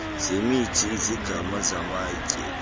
zemithi iziganga zamatye